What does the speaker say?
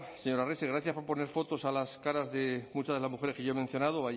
señor arrese gracias por poner fotos a las caras de muchas de las mujeres que yo he mencionado